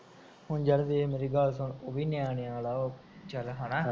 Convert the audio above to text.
ਹੁਣ ਯਰ ਦੇਖ ਹੁਣ ਮੇਰੀ ਬਾਤ ਸੁਣ, ਓ ਵੀ ਨਿਆਣਿਆ ਆਲਾ ਚਲ ਹਨਾ